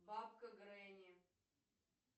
бабка гренни